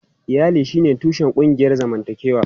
Iyali shine tushen ƙungiyar zamantakewa.